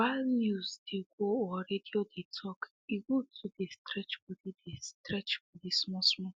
while news dey go or radio dey talk e good to dey stretch body dey stretch body small small